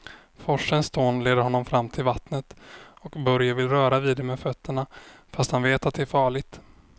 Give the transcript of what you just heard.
Forsens dån leder honom fram till vattnet och Börje vill röra vid det med fötterna, fast han vet att det är farligt.